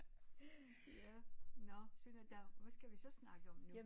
Ja nå se nu der hvad skal vi så snakke om nu